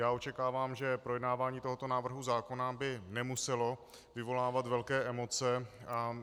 Já očekávám, že projednávání tohoto návrhu zákona by nemuselo vyvolávat velké emoce.